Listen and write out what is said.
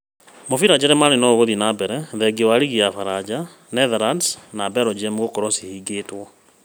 Mĩbira Jerumani noĩgũthiĩ na mbere thengia wa Rigi ya baranja, Netherlands na Belgium gũkorũo cihingĩtwo